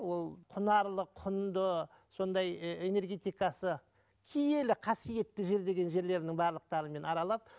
ол құнарлы құнды сондай ы энергетикасы киелі қасиетті жер деген жерлерінің барлықтарын мен аралап